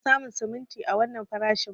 Ban iya samu simintin a wannan farashin ba.